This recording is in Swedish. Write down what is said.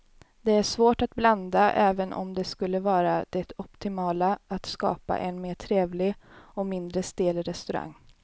Det är svårt att blanda även om det skulle vara det optimala att skapa en mer trevlig och mindre stel restaurang.